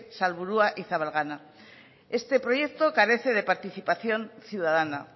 salburua y zabalgana este proyecto carece de participación ciudadana